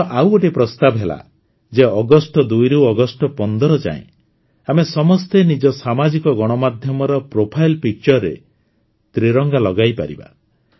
ମୋର ଆଉ ଗୋଟିଏ ପ୍ରସ୍ତାବ ହେଲା ଯେ ଅଗଷ୍ଟ ୨ ରୁ ଅଗଷ୍ଟ ୧୫ ଯାଏଁ ଆମେ ସମସ୍ତେ ନିଜ ସାମାଜିକ ଗଣମାଧ୍ୟମର ପ୍ରୋଫାଇଲ ପିକ୍ଚରରେ ତ୍ରିରଙ୍ଗା ଲଗାଇପାରିବା